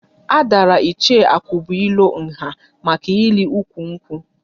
A dàrà Ichie Akubuilo nha maka ịli ụkwụ nkwu